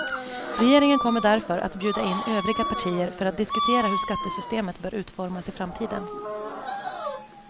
Regeringen kommer därför att bjuda in övriga partier för att diskutera hur skattesystemet bör utformas i framtiden.